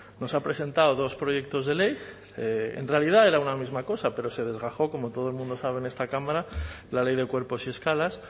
nos ha presentado dos proyectos de ley en realidad era una misma cosa pero se desgajó como todo el mundo sabe en esta cámara la ley de cuerpos y escalas